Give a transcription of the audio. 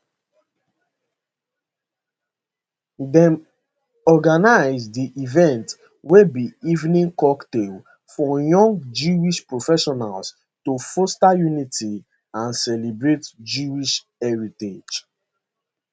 dem organise di event wey be evening cocktail for young jewish professionals to foster unity and celebrate jewish heritage